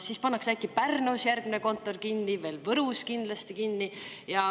Siis pannakse äkki Pärnus järgmine kontor kinni, Võrus pannakse kindlasti kinni.